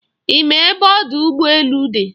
Ị ma ebe ọdụ ụgbọ elu dị?